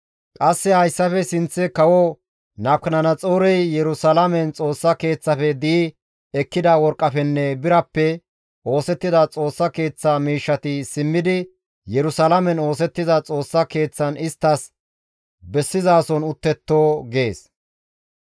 Qasse hayssafe sinththe kawo Nabukadanaxoorey Yerusalaamen Xoossa Keeththafe di7i ekkida worqqafenne birappe oosettida Xoossa Keeththa miishshati simmidi Yerusalaamen oosettiza Xoossa Keeththan isttas bessizason uttetto» gees.